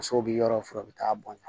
Musow bi yɔrɔ furan o bɛ taa bɔn ɲɔ